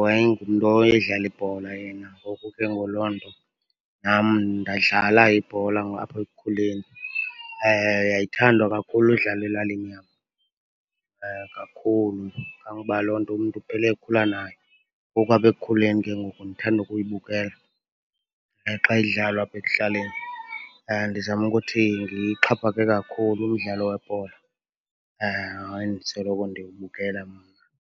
wayengumntu owayedlala ibhola yena, ngoku ke ngoku loo nto nam ndadlala ibhola apha ekukhuleni. Yayithandwa kakhulu udlalwa elalini yam, kakhulu. Kangoba loo nto umntu uphele ekhula nayo. Ngoku apha ekukhuleni ke ngoku ndithanda ukuyibukela xa idlalwa apha ekuhlaleni. Ndizama ukuthi kakhulu umdlalo webhola endisoloko ndiwubukela mna.